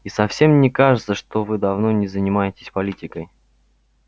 и совсем не кажется что вы давно не занимаетесь политикой